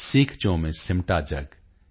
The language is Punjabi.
ਸੀਖਚੋਂ ਮੇਂ ਸਿਮਟਾ ਜਗ